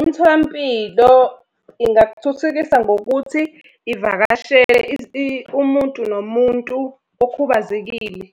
Imitholampilo ingakuthuthukisa ngokuthi ivakashele umuntu nomuntu okhubazekile.